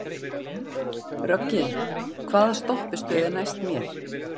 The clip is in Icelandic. Röggi, hvaða stoppistöð er næst mér?